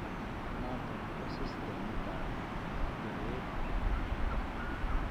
Noton ko systemit ab teret eng' borto